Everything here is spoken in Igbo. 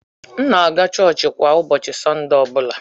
M na-aga Churchka ụbọchị Sọnde ọ bụla.